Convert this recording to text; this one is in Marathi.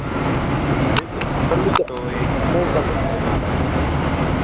अरे सांगू शकतो एक ह्याच्यात काय जाणार नाही बाहेर